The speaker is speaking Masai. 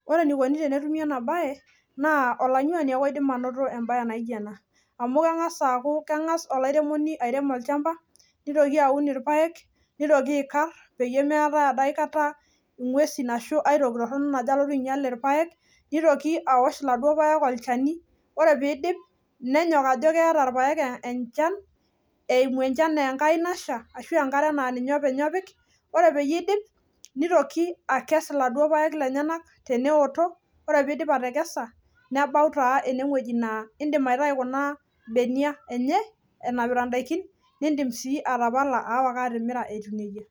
Ore enikoni tenetumi ena bae naa olanyuani ake oidim anot e bae naijo ena. Kengas olaramatani aun olchamba neikarr pee mijing ake nguesi najo alotu ainyial irpaek nenyok apik enkare neitoki akes paa ketumoki taa sawa osokoni nelo amirr .